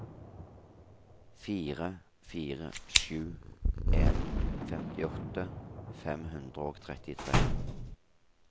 fire fire sju en femtiåtte fem hundre og trettitre